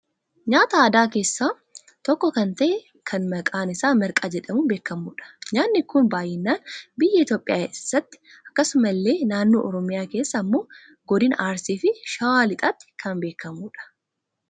nyaata aadaa keessaa tokko kan ta'e kan maqaan isaa marqaa jedhamun beekamudha. nyaanni kun baayyinaan biyya Itoophiyaa eessatti akkasumasillee naannoo oromiyaa keessaa ammoo godina arsiifi shawaa lixaatti kan beekamu dha.